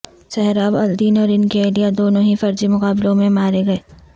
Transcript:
سہراب الدین اور ان کی اہلیہ دونوں ہی فرضی مقابلوں میں مارے گئے